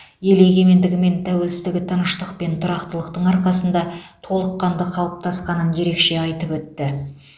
ел егемендігі мен тәуелсіздігі тыныштық пен тұрақтылықтың арқасында толыққанды қалыптасқанын ерекше айтып өтті